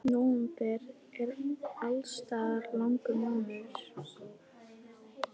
Nóvember er alls staðar langur mánuður.